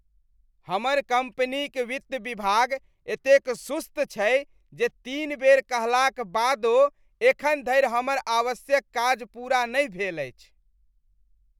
हमर कंपनीक वित्त विभाग एतेक सुस्त छै जे तीन बेर कहलाक बादो एखन धरि हमर आवश्यक काज पूरा नहि भेल अछि।